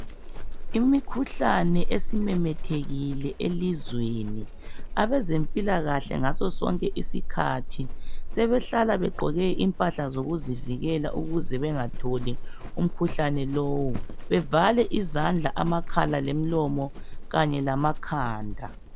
Imikhuhlane esimemethekile elizweni abazempilakahle ngoso sonke isikhathi sebehlala begqoke impahla zokuzivikela ukuze bengatholi umkhuhlane lowo bevale izandla, amakhala lomlomo kanye lamakhanda.